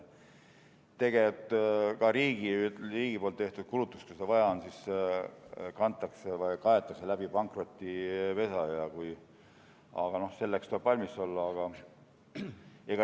Tegelikult ka riigi tehtud kulutused, kui seda vaja on, kaetakse pankrotipesa kaudu, aga sellisteks kuludeks tuleb valmis olla.